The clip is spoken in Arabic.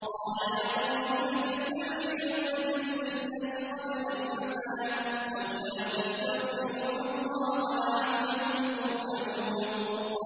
قَالَ يَا قَوْمِ لِمَ تَسْتَعْجِلُونَ بِالسَّيِّئَةِ قَبْلَ الْحَسَنَةِ ۖ لَوْلَا تَسْتَغْفِرُونَ اللَّهَ لَعَلَّكُمْ تُرْحَمُونَ